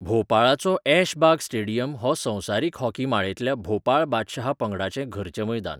भोपाळाचो Aishbagh stadium हो संवसारीक hockey माळेंतल्या भोपाळ बादशहा पंगडाचें घरचें मैदान